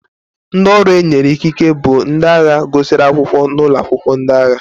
Ndị ọrụ e nyere ikike bụ ndị agha gụsịrị akwụkwọ n'ụlọ akwụkwọ ndị agha.